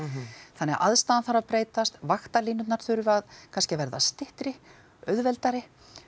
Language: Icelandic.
þannig að aðstaðan þarf að breytast þurfa kannski að verða styttri auðveldari